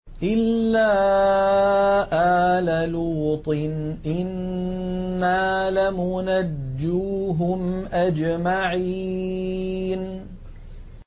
إِلَّا آلَ لُوطٍ إِنَّا لَمُنَجُّوهُمْ أَجْمَعِينَ